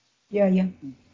иә иә